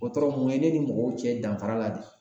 O dɔrɔn mun ye ne ni mɔgɔw cɛ danfara la de ?